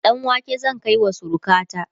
ɗanwake zan kaiwa surukata